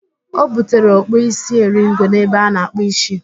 O butere ọkpụ isi eringo n'ebe ana-akpụ ísí